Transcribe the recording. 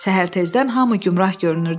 Səhər tezdən hamı gümrah görünürdü.